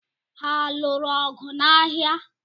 Ha lụụrụ ọgụ n'ahia?